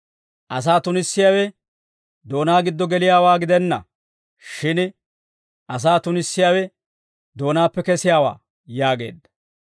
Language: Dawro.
asaa tunissiyaawe doonaa giddo geliyaawaa gidenna; shin asaa tunissiyaawe doonaappe kesiyaawaa» yaageedda.